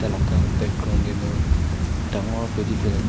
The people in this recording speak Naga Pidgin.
jaga background teh tu dangor paddy field ekta--